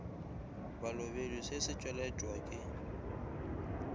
balobedu se se tšweletšwa ke